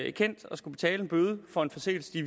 ikendt og skal betale en bøde for en forseelse de i